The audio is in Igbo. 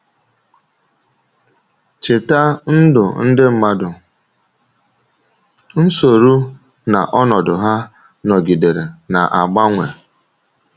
Chèta, ndụ ndị mmadụ — nsọ̀rụ̀ na ọnọdụ ha — nọgidere na-agbanwe.